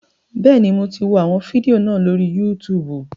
Bẹ́ẹ̀ni, mo ti wọ àwọn fídíò náà lórí Yútùùbù